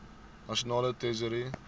nasionale tesourie